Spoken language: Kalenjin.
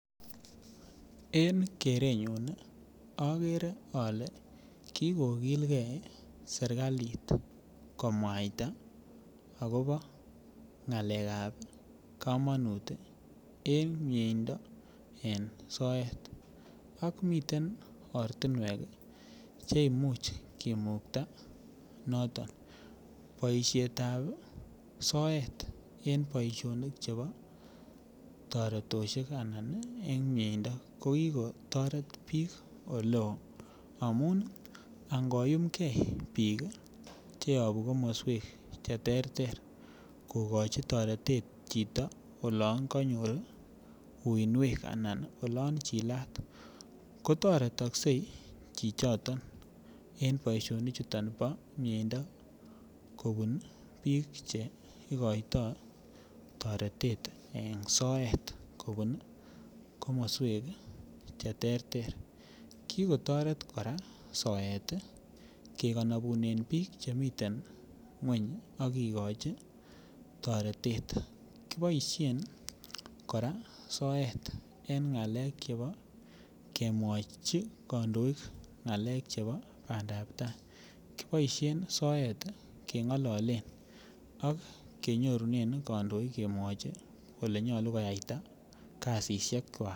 En kerenyun agere ale kikolgei serkalit komwaita agobo ngalekab komonut en soet ako miten ortinwek Che Imuch kimukta noton boisiet ab en boisionik ab soet en miendo ko ki kotoret bik Oleo amun angomyumgei bik Che yobu komoswek Che terter ii kokochi toretet chito olon kanyor uinwek anan olon chilat ko toretokse chichoto en boisionichuto bo miendo kobun bik Che igoitoi toretet en soet kobun komoswek Che terter ki kotoret kora soet kenobunen bik Che miten ngwony ak kigochi toretet kiboisien kora soet en ngalek chebo kemwochi kandoik ngalek chebo bandap tai kiboisien soet kengololen ak kenyorunen kandoik kemwoi agobo boisionik ab bandap tai